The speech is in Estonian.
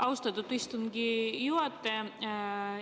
Austatud istungi juhataja!